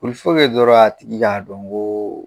dɔrɔn a tigi k'a dɔn ko